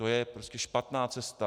To je prostě špatná cesta.